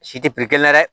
Si tɛ dɛ